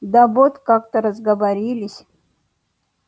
да вот как-то разговорились